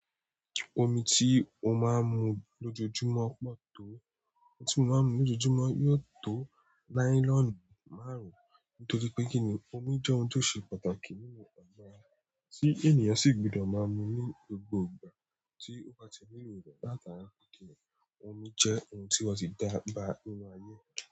Omi tí o máa ń mu lojoojumọ pọ tó? Omi tí mo máa ń mu lojoojumọ yóò tó nylon márùn torípé kíni omi jẹ ohun tó ṣe pàtàkì nínú agọ ara tí ènìyàn sì gbọdọ máa mu ní gbogbo ìgbà tí ó bati nílò rẹ látara wípé kíni omi jẹ́ ohun tí wọ́n ti dába nínú ayé.